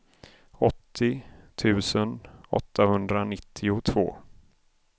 åttio tusen åttahundranittiotvå